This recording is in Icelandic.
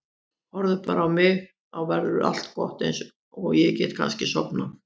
Horfðu bara á mig, þá verður allt gott og ég get kannski sofnað.